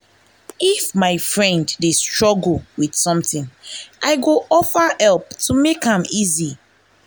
if my friend dey struggle with something i go offer help to make am easy.